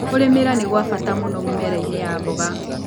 Kũrĩmĩra nĩkwabata mũno mĩmerainĩ ya mboga.